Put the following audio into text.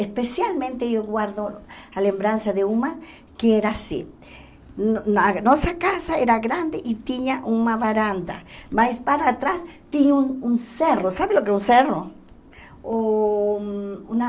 especialmente eu guardo a lembrança de uma que era assim no na nossa casa era grande e tinha uma varanda mas para trás tinha um um cerro sabe o que é um cerro? Uh uma